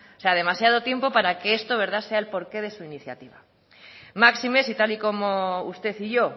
sea demasiado tiempo para que esto sea el porqué de su iniciativa máxime si tal y como usted y yo